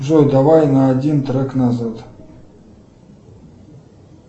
джой давай на один трек назад